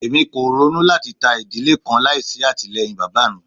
Emi ko ronu lati ta idile kan laisi atilẹyin baba mi